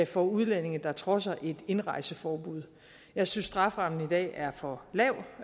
for udlændinge der trodser et indrejseforbud jeg synes strafferammen i dag er for lav